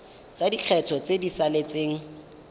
tsa lekgetho tse di saletseng